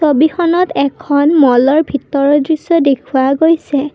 ছবিখনত এখন মল ৰ ভিতৰৰ দৃশ্য দেখুওৱা গৈছে।